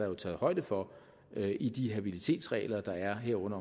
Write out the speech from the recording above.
er taget højde for det i de habilitetsregler der er herunder